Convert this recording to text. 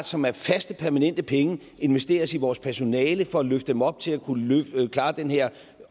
som er faste permanente penge investeres i vores personale for at løfte dem op til at kunne klare den her